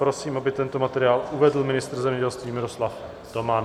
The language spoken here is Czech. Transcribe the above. Prosím, aby tento materiál uvedl ministr zemědělství Miroslav Toman.